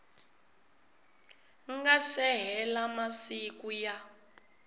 nga se hela masiku ya